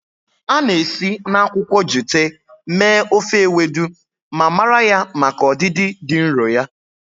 A na-esi na akwụkwọ jute mee ofe Ewedu ma mara ya maka ọdịdị dị nro ya.